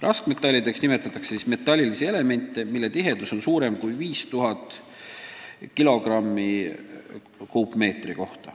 Raskmetallideks nimetatakse metallilisi elemente, mille tihedus on suurem kui 5000 kg/m3.